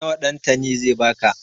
Nawa Ɗantani zai ba ka?